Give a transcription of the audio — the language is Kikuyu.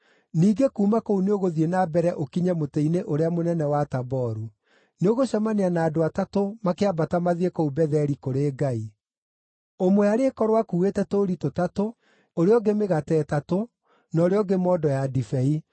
“Ningĩ kuuma kũu nĩũgũthiĩ na mbere ũkinye mũtĩ-inĩ ũrĩa mũnene wa Taboru. Nĩũgũcemania na andũ atatũ makĩambata mathiĩ kũu Betheli kũrĩ Ngai. Ũmwe arĩkorwo akuuĩte tũũri tũtatũ, ũrĩa ũngĩ mĩgate ĩtatũ, na ũrĩa ũngĩ mondo ya ndibei.